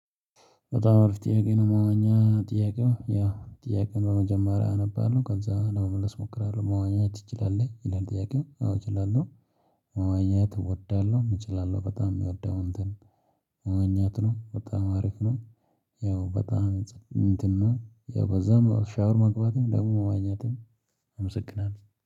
በጣም አሪፍ ጥያቄ ነው መዋኛ ጥያቄው ያ ጥያቄውን በመጀመሪያ አነባለሁ ከዛ ለመመለስ እሞክራለሁ መዋኘት ትችላለህ? ይላል ጥያቄው አዎ እችላለሁ መዋኘት እወዳለሁ እችላለሁ በጣም የሚወደው እንትን የሚመኘው በጣም አሪፍ ነው ያው በጣም እንትን ነው ያው በዛም ሻወር መግባትም ደግሞ መዋኛትም አመሰግናለሁ